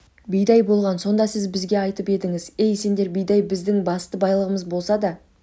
бидай болған сонда сіз бізге айтып едіңіз ей сендер бидай біздің басты байлығымыз болса да